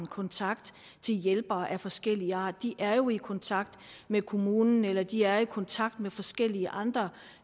kontakt til hjælpere af forskellig art de er jo i kontakt med kommunen eller de er i kontakt med forskellige andre